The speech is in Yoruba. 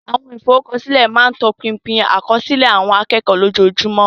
Àwọn ìforúkọsílẹ̀ máa ń tọpinpin àkọsílẹ̀ àwọn akẹ́kọ̀ọ́ lójoojúmọ́.